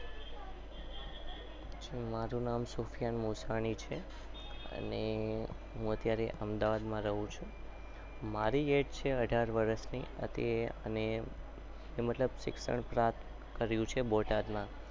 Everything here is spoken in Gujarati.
મારું નામે સુફેન અન્સારી છે. અને